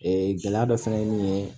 Ee gɛlɛya dɔ fana ye min ye